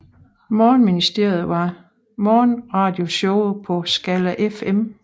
Morgenministeriet var morgenradioshowet på Skala FM